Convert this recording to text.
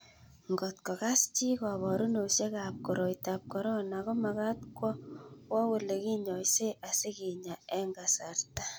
Ngotko Kas chi koborunosiekab ab koroitab korona komagat kowo Ole kinyoisee asikenya eng kasarta